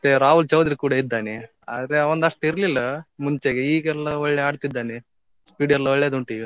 ಮತ್ತೆ ರಾಹುಲ್ ಚೌದ್ರಿ ಕೂಡಾ ಇದ್ದಾನೆ. ಆದ್ರೆ ಅವಂದು ಅಷ್ಟು ಇರ್ಲಿಲ್ಲ ಮುಂಚೆಗೆ, ಈಗ ಎಲ್ಲ ಒಳ್ಳೆ ಆಡ್ತಿದ್ದಾನೆ speed ಎಲ್ಲ ಒಳ್ಳೆದುಂಟು ಈಗ.